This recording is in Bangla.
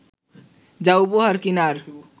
যা উপহার কিনার